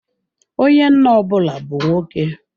Onye nna ọ bụla bu nwoke.